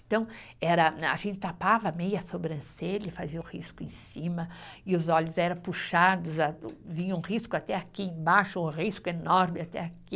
Então, era a gente tapava meia sobrancelha, e fazia o risco em cima e os olhos eram puxados a, vinha um risco até aqui embaixo, um risco enorme até aqui.